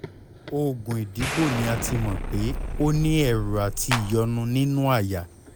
oògùn ìdìbò ni a ti mọ̀ pé o ní ẹ̀rù àti ìyọ́nú nínú àyà